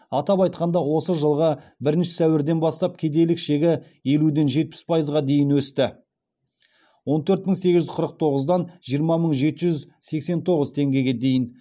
атап айтқанда осы жылғы бірінші сәуірден бастап кедейлік шегі елуден жетпіс пайызға дейін өсті